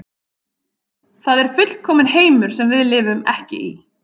Það er fullkominn heimur sem við lifum ekki í.